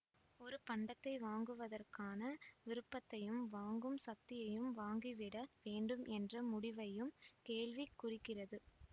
ஒரு பண்டத்தை வாங்குவதற்கான விருப்பத்தையும் வாங்கும் சக்தியையும்வாங்கிவிட வேண்டும் என்ற முடிவையும் கேள்வி குறிக்கிறது